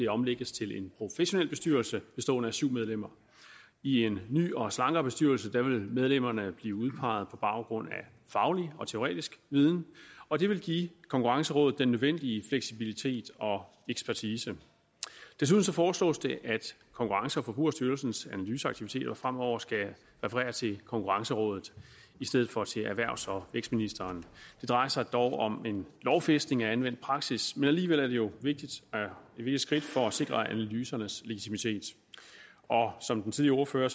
omlægges til en professionel bestyrelse bestående af syv medlemmer i en ny og slankere bestyrelse vil medlemmerne blive udpeget på baggrund af faglig og teoretisk viden og det vil give konkurrencerådet den nødvendige fleksibilitet og ekspertise desuden foreslås det at konkurrence og forbrugerstyrelsens analyseaktiviteter fremover skal referere til konkurrencerådet i stedet for til erhvervs og vækstministeren det drejer sig dog om en lovfæstning af anvendt praksis men alligevel er det jo et vigtigt skridt for at sikre analysernes legitimitet som den tidligere ordfører